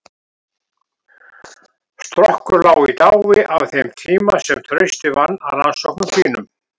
Strokkur lá í dái á þeim tíma sem Trausti vann að rannsóknum sínum.